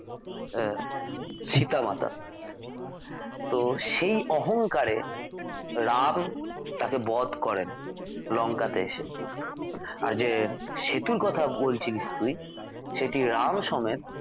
আহ সীতা মাতা তো সেই অহঙ্কারে রাম তাঁকে বধ করেন লঙ্কা তে এসে আর যে সেতুর কথা বলছিলিস তুই সেটি রাম সমেত